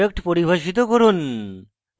class product পরিভাষিত করুন